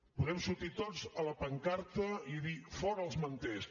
podem sortir tots a la pancarta i dir fora els manters